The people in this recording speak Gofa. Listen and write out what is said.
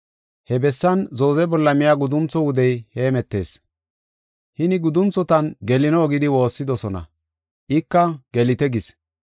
He bessan zooze bolla miya guduntho wudey hemetees. Hini gudunthotan gelino gidi woossidosona, ika “Gelite” gis.